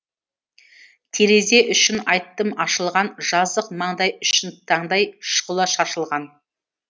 терезе үшін айттым ашылған жазық маңдай үшін таңдай шұғыла шашылған